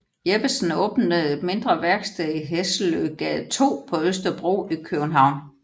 Jeppesen åbnede et mindre værksted i Hesseløgade 2 på Østerbro i København